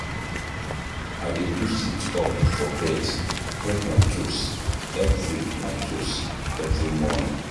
I dey do sit-up for bed, touch my toes every my toes every morning.